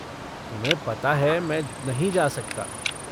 तुम्हें पता है मैं नहीं जा सकता।